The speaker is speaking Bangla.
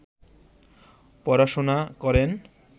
পড়াশুনা করেন